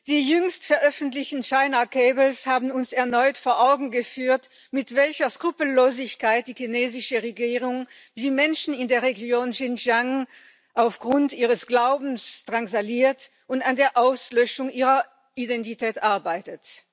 Die jüngst veröffentlichen haben uns erneut vor Augen geführt, mit welcher Skrupellosigkeit die chinesische Regierung die Menschen in der Region Xinjiang aufgrund ihres Glaubens drangsaliert und an der Auslöschung ihrer Identität arbeitet.